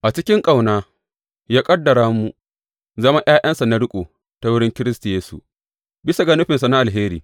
A cikin ƙauna, ya ƙaddara mu zama ’ya’yansa na riƙo ta wurin Kiristi Yesu, bisa ga nufinsa na alheri.